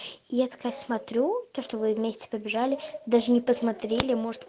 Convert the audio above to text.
я такая смотрю то что вы вместе побежали даже не посмотрели может